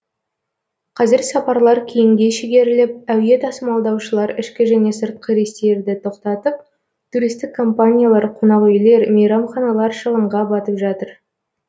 қазір сапарлар кейінге шегеріліп әуе тасымалдаушылар ішкі және сыртқы рейстерді тоқтатып туристік компаниялар қонақүйлер мейрамханалар шығынға батып жатыр